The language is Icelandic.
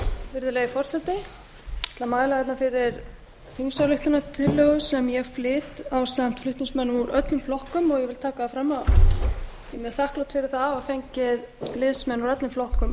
virðulegi forseti ég ætla að mæla fyrir þingsályktunartillögu sem ég flyt ásamt flutningsmönnum úr öllum flokkum og ég vil taka það fram að ég er mjög þakklát fyrir það að hafa fengið liðsmenn úr öllum flokkum